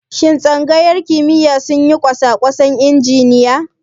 Shin Tsangayar kimiyya suna yin kosakwasan injiniya?